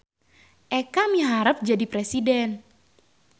Eka miharep jadi presiden